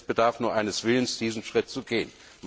Es bedarf nur eines Willens, diesen Schritt zu gehen.